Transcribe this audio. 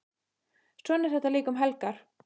Svona er þetta líka um helgar.